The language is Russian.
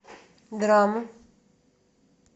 драма